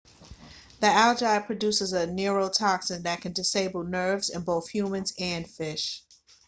the algae produces a neurotoxin that can disable nerves in both humans and fish